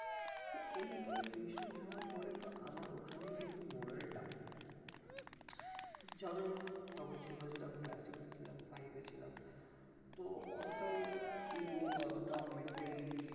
তহ এইভাবেই tuition নেওয়ার পরেই তহ আমার ওখানেই কিন্তু moral down যাহোক তখন ছোট ছিলাম class six এ ছিলাম five এ ছিলাম তহ অতটাও ego বা অতটাও mentally